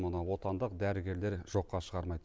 мұны отандық дәрігерлер жоққа шығармайды